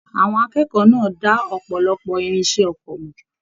Àwọn akẹ́kọ̀ọ́ náà dà ọpọlọpọ irinṣẹ́ oko mọ.